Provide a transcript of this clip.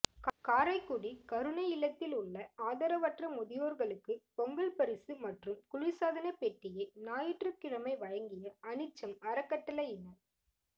காரைக்குடி கருணை இல்லத்தில் உள்ள ஆதரவற்ற முதியோா்களுக்கு பொங்கல் பரிசு மற்றும் குளிா்சாதனப் பெட்டியை ஞாயிற்றுக்கிழமை வழங்கிய அனிச்சம் அறக்கட்டளையினா்